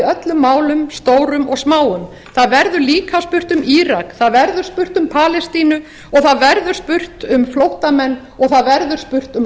öllum málum stórum og smáum það verður líka spurt um írak það verður spurt um palestínu og það verður spurt um flóttamenn og það verður spurt um